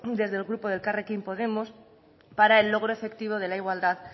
desde el grupo de elkarrekin podemos para el logro efectivo de la igualdad